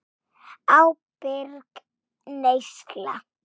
Ábyrg neysla.